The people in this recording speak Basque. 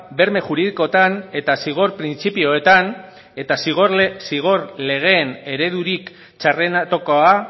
berme juridikoetan eta zigor printzipioetan eta zigor legeen eredurik txarrenetakoa